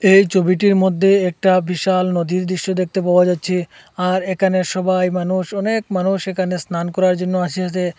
এই ছবিটির মধ্যে একটা বিশাল নদীর দৃশ্য দেখতে পাওয়া যাচ্ছে আর এখানে সবাই মানুষ অনেক মানুষ এখানে স্নান করার জন্য আসিয়াছে।